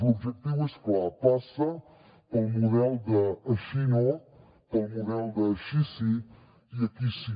l’objectiu és clar passa pel model d’ així no pel model d’ així sí i aquí sí